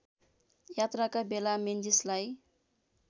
यात्राका बेला मेन्जीसलाई